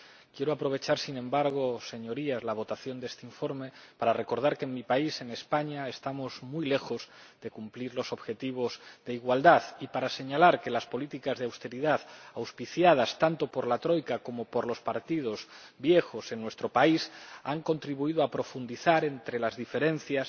Quiero aprovechar, sin embargo, Señorías, la votación de este informe para recordar que en mi país ―en España― estamos muy lejos de cumplir los objetivos de igualdad y para señalar que las políticas de austeridad, auspiciadas tanto por la Troika como por los partidos viejos en nuestro país, han contribuido a profundizar las diferencias